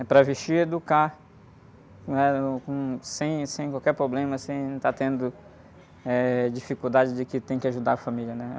É para vestir e educar, né? Uh, uhm, sem, sem qualquer problema, sem estar tendo, eh, dificuldade de que tem que ajudar a família, né?